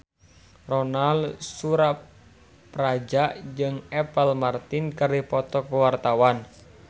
Ronal Surapradja jeung Apple Martin keur dipoto ku wartawan